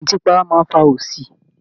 Ìmùtí para máa ń fa òṣì